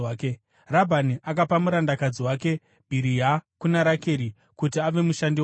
Rabhani akapa murandakadzi wake Bhiriha kuna Rakeri kuti ave mushandi wake.